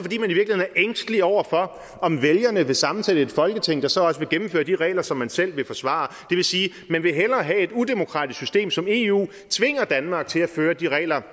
ængstelig over for om vælgerne vil sammensætte et folketing der så også vil gennemføre de regler som man selv vil forsvare det vil sige at man hellere vil have at et udemokratisk system som eu tvinger danmark til at føre de regler